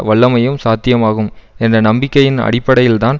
வல்லமையும் சாத்தியமாகும் என்ற நம்பிக்கையின் அடிப்படையில்தான்